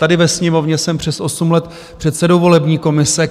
Tady ve Sněmovně jsem přes osm let předsedou volební komise.